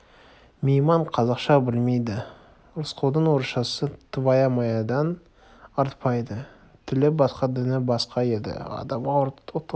мейман қазақша білмейді рысқұлдың орысшасы твая-маядан артпайды тілі басқа діні басқа екі адамға от ортақ от